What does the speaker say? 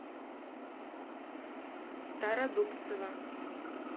стародубцева